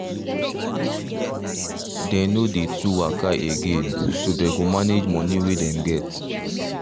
they no dey too waka again so they go manage moni way them get